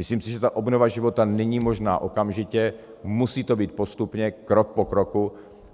Myslím si, že ta obnova života není možná okamžitě, musí to být postupně, krok po kroku,